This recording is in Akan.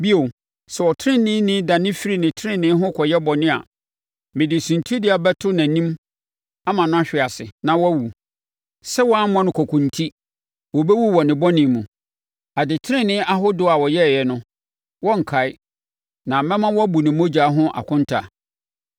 “Bio, sɛ ɔteneneeni dane firi tenenee ho kɔyɛ bɔne a, mede suntidua bɛto nʼanim ama no ahwe ase, na wawu. Sɛ woammɔ no kɔkɔ enti, ɔbɛwu wɔ ne bɔne mu. Adetenenee ahodoɔ a ɔyɛeɛ no, wɔrenkae, na mɛma woabu ne mogya ho akonta.